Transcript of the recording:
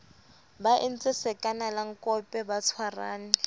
ba entse sakanalankope ba tshwarane